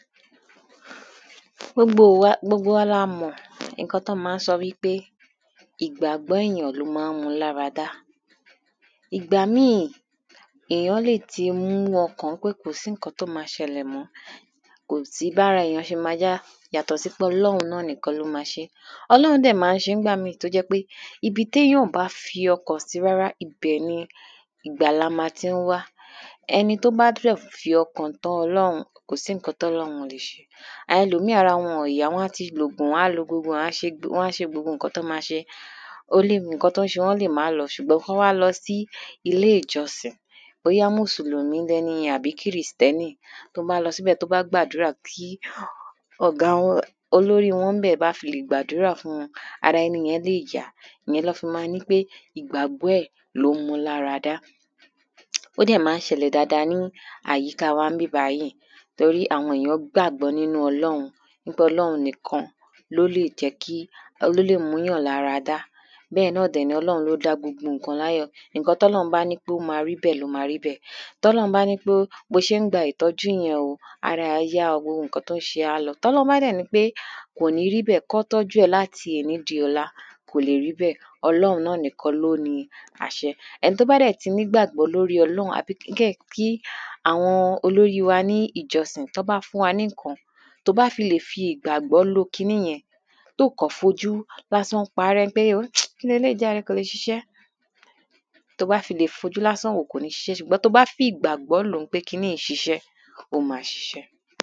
Gbogbo wa gbogbo wa la mọ̀ nǹkan tán mọ́ ń sọ wípé ìgbàgbọ́ èyàn ló má ń mú lára dá. Ìgbà míì èyàn lè ti mú ọkàn pé kò sí nǹkan tó má ṣẹlẹ̀ mọ́ kò sí bára èyàn ṣe má yá yátọ̀ sí pé ọlọ́run nìkan náà ló má ṣé Ọlórun dẹ̀ má ń ṣé nígbà míì tó jẹ́ pé ibi téyàn ò bá fi ọkàn sí rárá ibẹ̀ ni ìgbàlà má tí ń wá ẹni tó bá dẹ̀ fi ọkàn tán ọlórun kò sí nǹkan tí ò lè ṣe àwọn ẹlòmíì ara wọn ò yá wọ́n á ti lòògún wọ́n á lo gbogbo ẹ̀ wọ́n á ti ṣe gbogbo nǹkan tán má ṣe ó lè nǹkan tó ń ṣe wọ́n lè má lọ ṣùgbọ́n tán bá lọ sí ilé ìjọsìn bóyá mùsùlùmí lẹniyẹn ni àbí krìstẹ́nì tó bá lọ síbẹ̀ tó bá gbàdúrà kí ọ̀gá wọn olórí wọn ńbẹ̀ tó bá fi lè gbàdúrà fún wọn ara ẹniyẹn lè yá òhun ná fi má wípé ìgbàgbọ́ ẹ̀ on ló mú lára dá. ó dẹ̀ má ń ṣẹlẹ̀ dáada ní àyíká wa níbí bàyìí tórí àwọn èyàn gbàgbọ́ nínú ọlóun tórí ọlóun nìkan ló lè jẹ́ kí ló lè múyàn lára dá. bẹ́ẹ̀ náà dẹ̀ ni ọlọ́un ló dá gbogbo nǹkan láyọ̀ nǹkan tọ́lọ́un bá dẹ̀ ló má rí bẹ́ẹ̀ ló má rí bẹ́ẹ̀. Tọ́lọ́un bá nípé bó ṣe ń gba ìtọ́jú yẹn o ara ẹ̀ á yá gbogbo nǹkan tó ń ṣe ẹ́ á lọ tọ́lọ́un bá dẹ̀ nípé kò ní ríbẹ̀ kán tọ́jú ẹ̀ láti èní di ọ̀la kò lè rí bẹ́ẹ̀ ọlóun nìkan náà ló ni àṣẹ. Ẹni tó bá dẹ̀ ti nígbàgbọ́ lórí ọlọ́run àbí kí àwọn olórí wa ní ìjọsìn tán bá fún wa ní nǹkan tó bá fi lè fi ìgbàgbọ́ lo kiní yẹn tó kàn fojú lásán párẹ́ pé wó kíleléyìí jàre kò le ṣiṣẹ́ tó bá ti lè fojú lásán wò ó kò le ṣiṣẹ́ ṣùgbọ́n tó bá fìgbàgbọ́ lòó pé kiní yìí ń ṣiṣẹ́ ó má ṣiṣẹ́